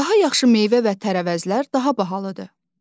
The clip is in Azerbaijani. Daha yaxşı meyvə və tərəvəzlər daha bahalıdır.